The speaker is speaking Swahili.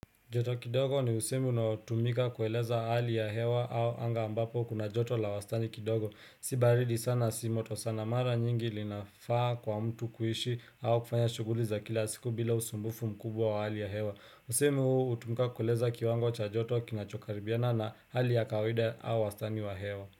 Joto kidogo ni usemi unaotumika kueleza hali ya hewa au anga ambapo kuna joto la wastani kidogo. Si baridi sana si moto sana mara nyingi linafaa kwa mtu kuishi au kufanya shughuli za kila siku bila usumbufu mkubwa wa hali ya hewa. Usemi huu hutumika kueleza kiwango cha joto kinachokaribiana na hali ya kawaida au wastani wa hewa.